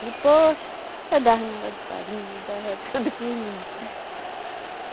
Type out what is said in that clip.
Depois, eu dava mingau de farinha, dava tudo que vinha.